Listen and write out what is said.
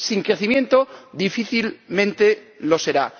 Sin crecimiento, difícilmente lo será.